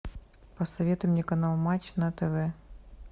посоветуй мне канал матч на тв